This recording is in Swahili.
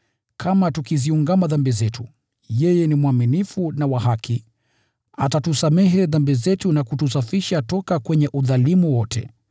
Kama tukiziungama dhambi zetu, yeye ni mwaminifu na wa haki, atatusamehe dhambi zetu na kutusafisha kutoka kwenye udhalimu wote.